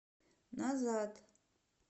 назад